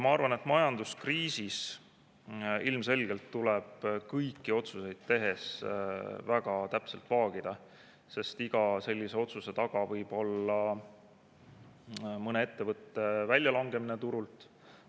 Ma arvan, et majanduskriisis ilmselgelt tuleb kõiki otsuseid tehes väga täpselt vaagida, sest iga sellise otsuse taga võib olla mõne ettevõtte väljalangemine turult.